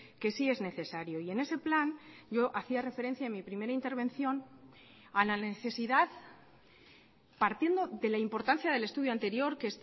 que sí es necesario y en ese plan yo hacía referencia en mí primera intervención a la necesidad partiendo de la importancia del estudio anterior que